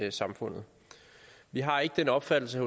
i samfundet vi har ikke den opfattelse